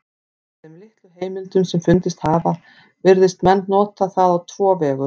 Af þeim litlu heimildum sem fundist hafa virðast menn nota það á tvo vegu.